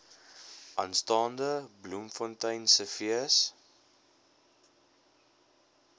aanstaande bloemfonteinse fees